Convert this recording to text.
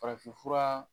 Farafinfura